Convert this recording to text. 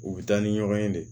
U bɛ taa ni ɲɔgɔn ye de